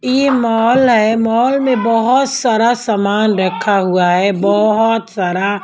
ये मॉल है मॉल में बहुत सारा सामान रखा हुआ है बहुत सारा।